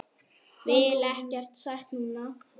Vil ekkert sætt núna.